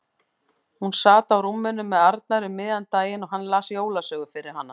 Hún sat á rúminu með Arnari um miðjan daginn og hann las jólasögu fyrir hana.